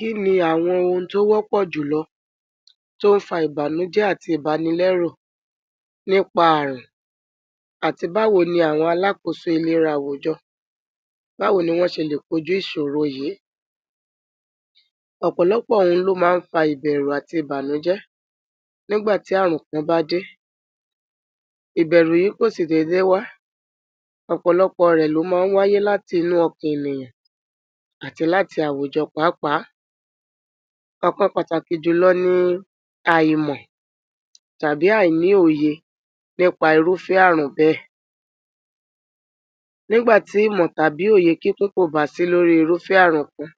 Kí ni àwọn ohun tó wọ́pọ̀ jùlọ tó ń fa ìbànújẹ àti ìbànilẹ̀ru nípa ààrùn? Àti báwo ni àwọn alákòóso iléra àwùjọ, báwo ni wọ́n ṣe le koju ìṣòro yìí? Ọ̀pọ̀lọpọ̀ ohun ló ma n fa ìbẹ̀rù àti ìbànújẹ nígbà tí ààrùn kan bá dé. Ìbẹ̀rù yìí kó sì dé dé wá. Ọ̀pọ̀lọpọ̀ rẹ ló ma ń wáyé láti inú ọkà ènìyàn àti láti àwùjọ pàápàá. Ọkan pàtàkì jùlọ ni àìmọ̀ tàbí àìníòye nípa irúfé ààrùn bẹ. Nígbàtí ìmọ̀ tàbí òye kíkún kò bá sí lórí irúfé ààrùn kan,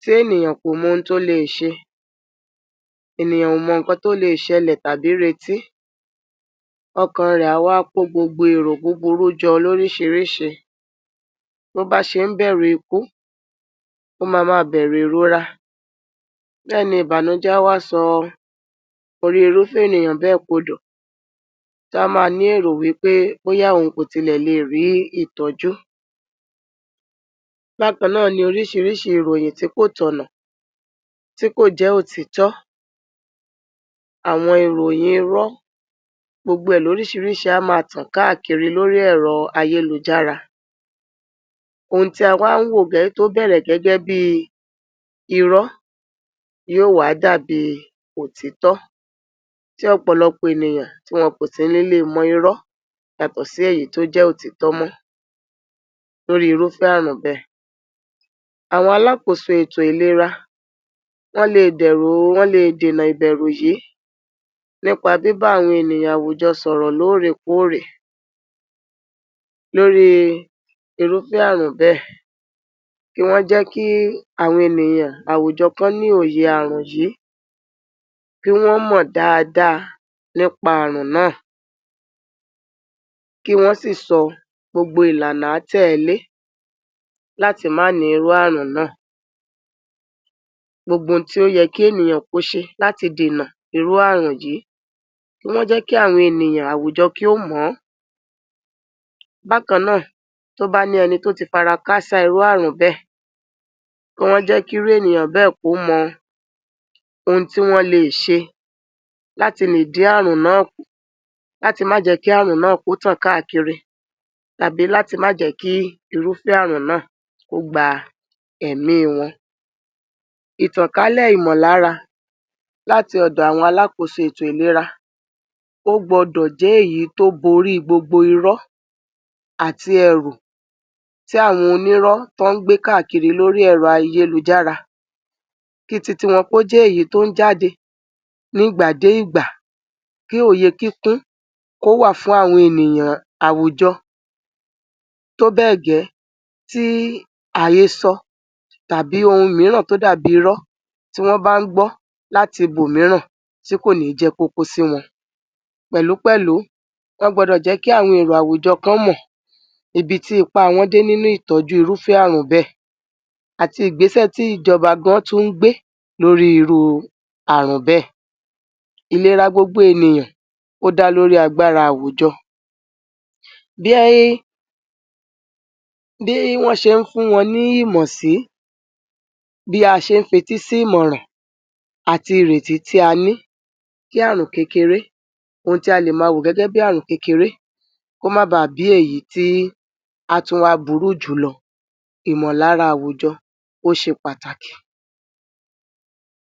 tí ènìyàn kò mo ń tó lè ṣe, ènìyàn o mọ ọkàn tó lè ṣẹlẹ tàbí rètí, ọkàn re awa ko gbogbo èèrò buburu jọ lórí ṣìríṣìí. Bo bá ṣe ń bẹ̀rù ikú, o ma má a bẹ̀rù irora. Bẹ́ni ìbànújẹ a wá sọ orí irúfé ènìyàn bẹ́ẹ̀ kò dọ̀, tó a máa ní èèrùwí pé bóyá ohun kòtilẹ̀ le rí ìtojú. Bákan náà ni oríṣìríṣi ìròyìn tí kò tọ̀nà, tí kò jẹ́ ó titọ́. Àwọn ìròyìn irọ gbogbo è lòríṣìríṣi àmà tàn káàkiri lórí ẹ̀rọ ayélujára. Ohun tí àwa ń wo gẹ́gẹ́ tó bẹ̀rẹ̀ gẹ́gẹ́ bí irọ yíò wà dàbí òtítọ́. Ti ọ̀pọ̀lọpọ̀ ènìyàn tí wọn oùntí níle mọ irọ yato si ẹ̀yí tó jẹ́ òtítọ́ mó. Lórí irúfé ààrùn bẹ. Àwọn alákòóso ètò ìlera wọn le dẹ̀rù wọn le nìdìnà ìbẹ̀rù yìí nípa bí bá wín ènìyàn àwùjọ sọ̀rọ̀ lórí korè lori irúfé ààrùn bẹ. Kí wọn jẹ́ kí àwọn ènìyàn àwùjọ kan ní òye ààrùn yìí, kí wọn mọ dáadáa nípa ààrùn náà, kí wọn sì sọ gbogbo ìlànà tẹ ẹlé láti má ni irú-ààrù náà. Gbogbo ohun tí ó yẹ kí ènìyàn ko ṣe láti dìnà irú-ààrù yìí, kí wọn jẹ́ kí àwọn ènìyàn àwùjọ kí o mọ̀ ọ́. Bákan náà, tó ba ni ẹni tó ti farakasa irú-ààrù bẹ, kí wọn jẹ́ kí iru ènìyàn bẹ́ẹ̀ kò mọ ohun tí wọn le ṣe láti le di ààrù náà kan, láti má jẹ́ kí ààrù náà kó tàn káàkiri tàbí láti má jẹ́ kí irúfé ààrù náà kó gba ẹ̀mí wọn. Itànkalẹ̀ ìmọ̀lára láti ọ̀dọ̀ àwọn alákòóso ètò ìlera o gbodo jẹ́ èyí tó borí gbogbo irọ àti ẹ̀rù tí àwọn onírọ̀ tán ń gbé káàkiri lórí ẹ̀rọ ayélujára. Ki titi wọn ko jẹ èyí tó n jáde nígbà de ìgbà, kí òye kíkún kó wà fún àwọn ènìyàn àwùjọ tó bẹ́ẹ̀gẹ́ tí ààyè sọ tàbí ohun mìíràn tó dàbí irọ tí wọ́n bá ń gbọ́ láti ibò mííràn tí kò ní jẹ́ popo sí wọn. Pẹ̀lúpẹ̀lu wọn gbodo jẹ́ kí àwọn èrò àwùjọ kan mọ ibi tí ipa àwọn dé nínú ìtànjú irúfé ààrùn bẹ àti igbésẹ tí ìjọba gan tu ń gbé lori irú ààrùn bẹ. Iléra gbogbo ènìyàn ó dá lórí agbára àwùjọ. Bíę, bí wọn ṣe ń fun wọn ní ìmọ̀ sí, bí a ṣe ń fetísí ìmọ̀ràn àti ìrètí tí a ni tí ààrùn kekere ohun tí a le máa wò gẹ́gẹ́ bí ààrùn kekere, kó má bá bí èyí tí a tun wa burú jùlọ ìmọ̀lára àwùjọ, kó ṣe pàtàkì.